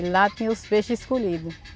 E lá tinha os peixes escolhido.